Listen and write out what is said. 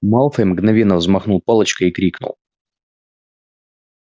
малфой мгновенно взмахнул палочкой и крикнул